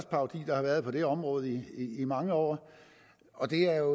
parodier der har været på det område i mange år og det er